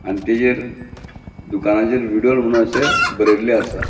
आणि तेजेर दुकानाचेर विडोल म्हुणू अशे बरेल्ले असा.